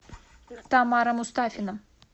тамара мустафина